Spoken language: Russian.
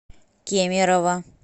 кемерово